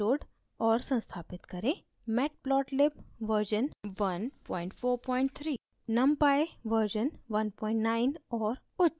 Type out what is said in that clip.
निम्न download और संस्थापित करें